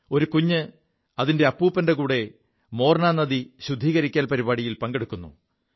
ഒരു കുഞ്ഞ് അതിന്റെ അപ്പൂപ്പന്റെ കൂടെ മോർനാ നദി ശുദ്ധീകരിക്കൽ പരിപാടിയിൽ പങ്കെടുക്കുു